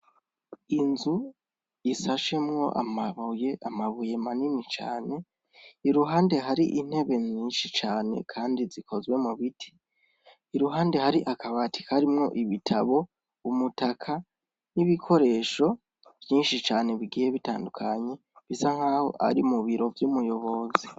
Inzu isashemwo amabuye amabuye manini cane iruhande hari intebe nyinshi cane, kandi zikozwe mu biti iruhande hari akabati karimwo ibitabo umutaka n'ibikoresho vyinshi cane bigihe bitandukanye bisa nk'aho ari mu biro umuyoboza.